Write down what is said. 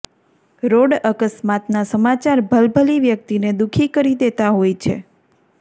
road અકસ્માતના સમાચાર ભલભલી વ્યક્તિને દુઃખી કરી દેતા હોય છે